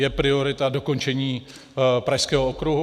Je priorita dokončení pražského okruhu?